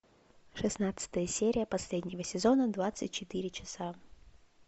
шестнадцатая серия последнего сезона двадцать четыре часа